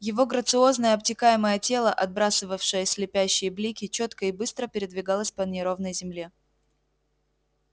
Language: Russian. его грациозное обтекаемое тело отбрасывавшее слепящие блики чётко и быстро передвигалось по неровной земле